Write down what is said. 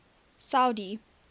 saudi